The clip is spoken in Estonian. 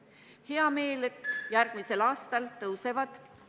On hea meel, et järgmisel aastal tõusevad ...